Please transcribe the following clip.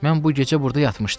Mən bu gecə burda yatmışdım.